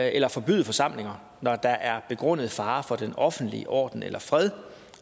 eller forbyde forsamlinger når der er begrundet fare for den offentlige orden eller fred